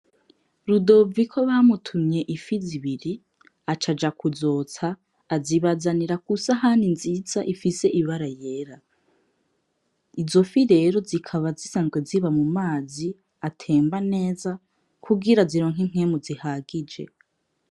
Rudoviko bamutumye ififi zibiri, aca aja kuzotsa, azibazanira ku sahani nziza ifise ibara yera. Izo fifi rero zikaba zisanzwe ziba mu mazi atemba neza kugira zironke inpwemu zihagije.